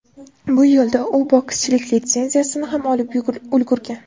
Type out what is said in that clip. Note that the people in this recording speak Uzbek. Bu yo‘lda u bokschilik litsenziyasini ham olib ulgurgan .